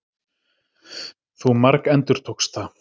Þú margendurtókst það.